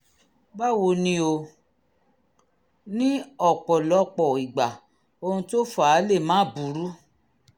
báwo ni o? ní ọ̀pọ̀lọpọ̀ ìgbà ohun tó fà á lè máà burú